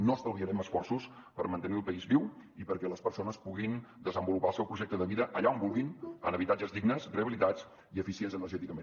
no estalviarem esforços per mantenir el país viu i perquè les persones puguin desenvolupar el seu projecte de vida allà on vulguin en habitatges dignes rehabilitats i eficients energèticament